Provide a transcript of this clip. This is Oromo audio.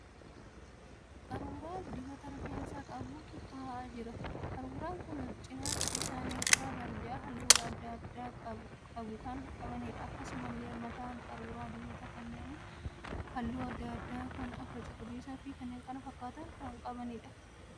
Qaruuraa dibata rifeensaa qabutu taa'aa jira. Qaruuraan kunneen cinaacha isaanii irraa barjaa halluu adda addaa qabu kan qabaniidha. Akkasumallee mataan qaruuraa dibataa kunneen halluu adda addaa kan akka cuquliisaa fi kan kana fakkaatan qabaniidha.